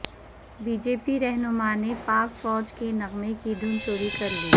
be J P رہنماء نے پاک فوج کے نغمے کی دھن چوری کر لی